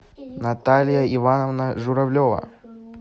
наталья ивановна журавлева